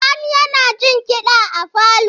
Sani yana jin kiɗa a falo.